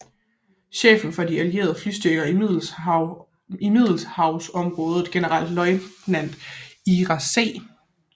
Chefen for de allierede flystyrker i Middelhavsområdet generalløjtnant Ira C